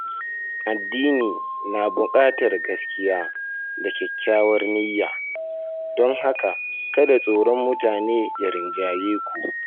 Addini na buƙatar gaskiya da kyakkyawar niyya, don haka kada tsoron mutane ya rinjaye ku.